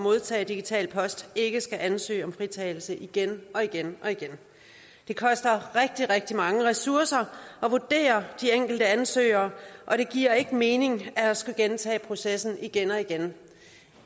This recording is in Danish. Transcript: modtage digital post ikke skal ansøge om fritagelse igen og igen det koster rigtig rigtig mange ressourcer at vurdere de enkelte ansøgere og det giver ikke mening at skulle gentage processen igen og igen